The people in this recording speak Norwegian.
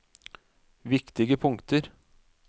viktige punkter